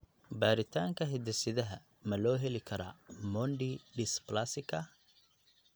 Baaritaanka hidde-sidaha ma loo heli karaa Mondi dysplasika?